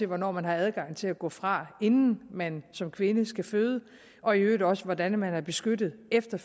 hvornår man har adgang til at gå fra inden man som kvinde skal føde og i øvrigt også om hvordan man er beskyttet efter